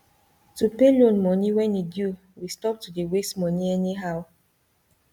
to pay loan moni when e due we stop to dey waste moni anyhow